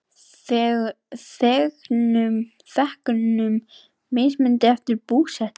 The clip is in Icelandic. Þegnum mismunað eftir búsetu